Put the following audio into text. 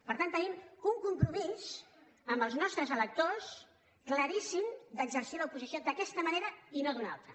per tant tenim un compromís amb els nostres electors claríssim d’exercir l’oposició d’aquesta manera i no d’una altra